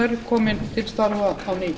um klukkan þrjú þrjátíu í